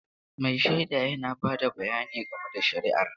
Mai shaida yana ba da bayani game da shari'ar.